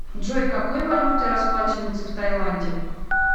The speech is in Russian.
джой какой валютой расплачиваются в тайланде